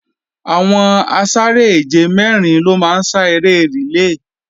Àwọn asáré-èje mẹ́rin ló máa ń sá eré rìlé